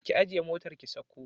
Ki ajiye motar ki sauko